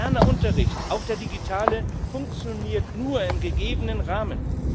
Moderner Unterricht, auch der digitale, funktioniert nur im gegebenen Rahmen.